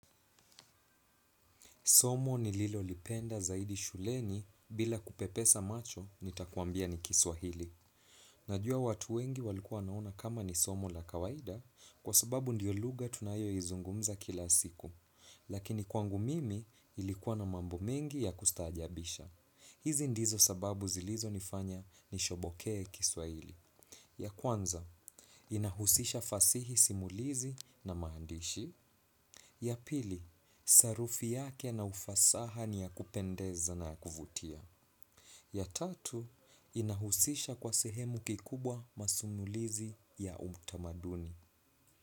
Somo nililolipenda zaidi shuleni bila kupepesa macho nitakuambia ni Kiswahili. Najua watu wengi walikuwa wanaona kama ni somo la kawaida kwa sababu ndio lugha tunayo izungumza kila siku. Lakini kwangu mimi ilikuwa na mambo mengi ya kustaajabisha. Hizi ndizo sababu zilizonifanya nishobokee Kiswahili. Ya kwanza, inahusisha fasihi simulizi na maandishi. Ya pili, sarufi yake na ufasaha ni ya kupendeza na ya kuvutia. Ya tatu, inahusisha kwa sehemu kiukubwa masimulizi ya utamaduni.